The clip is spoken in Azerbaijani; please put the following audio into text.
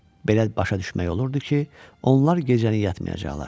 Belə başa düşmək olurdu ki, onlar gecəni yatmayacaqlar.